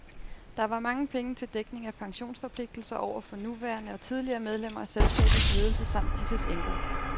Der var mange penge til dækning af pensionsforpligtelser over for nuværende og tidligere medlemmer af selskabets ledelse samt disses enker.